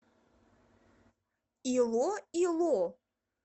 илоило